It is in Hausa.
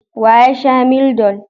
Wa ya sha Mildol?